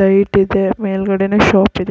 Light ಇದೆ ಮೇಲ್ಗಡೆನು shop ಇದೆ.